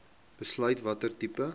besluit watter tipe